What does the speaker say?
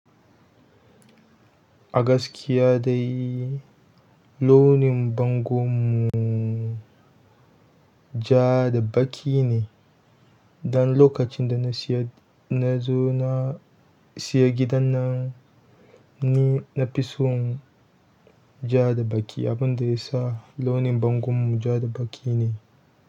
A gaskiya dai, launin bangon mu ja da baƙi ne. Dan lokacin da na siyo, in na zo na siyo gidan nan ni na fi son ja da baƙi, abin da ya sa launin bangon mu ja da baƙi ne.